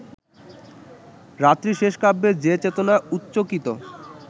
রাত্রিশেষ কাব্যে যে-চেতনা উচ্চকিত